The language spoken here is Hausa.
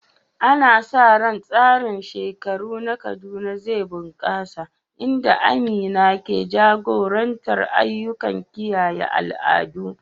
Ana sa ran tsarin shekaru na Kaduna zai bunƙasa, inda Amina ke jagorantar ayyukan kiyaye al'adu.